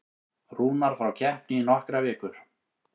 Rúnar frá keppni í nokkrar vikur